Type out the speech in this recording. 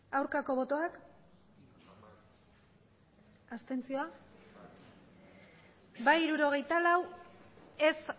aurkako botoak abstentzioak bai hirurogeita lau ez